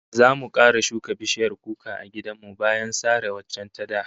Zamu kara shuka bishiyar kuka a gidan mu bayan sare waccan ta da